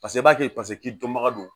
Paseke i b'a kɛ paseke k'i dɔnbaga don